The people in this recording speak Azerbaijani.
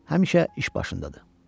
Həmişə iş başındadır.